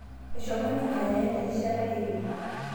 Eshomo ninye aya erishata e ile